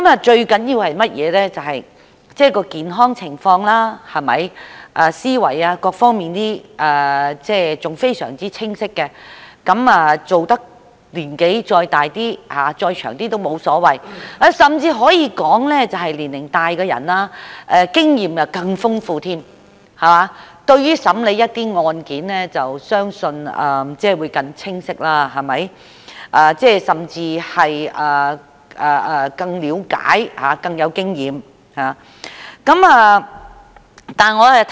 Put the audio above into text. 最重要的是健康情況良好、思維仍非常清晰，即使工作至年紀再大一點也沒有所謂，甚至可以說年長的人的經驗更為豐富，審理案件時相信會更清晰，能夠更了解案情，以及更有經驗。